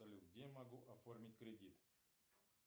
салют где я могу оформить кредит